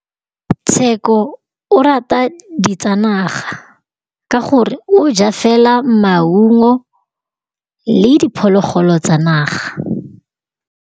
Tshekô o rata ditsanaga ka gore o ja fela maungo le diphologolo tsa naga.